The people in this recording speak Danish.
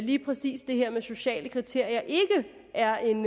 lige præcis det her med sociale kriterier ikke er en